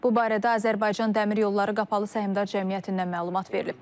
Bu barədə Azərbaycan Dəmir Yolları Qapalı Səhmdar Cəmiyyətindən məlumat verilib.